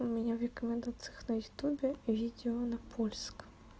у меня в рекомендациях на ютубе видео на польском